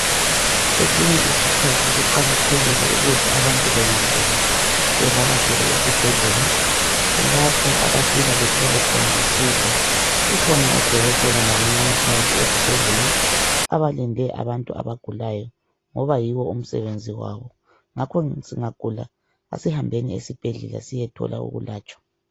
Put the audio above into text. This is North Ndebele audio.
Kwesinye isikhathi kuqakathekile ukuthi abantu bengagula bavakatshele esibhedlela. Kulapho abafika bethole khona usizo. Kukhona o dokotela labo mongikazi esibhedlela, abalinde abantu abagulayo, ngoba yiwo umsebenziwawo. Ngakho singagula asihambeni esibhedlela siyethola ukulatshwa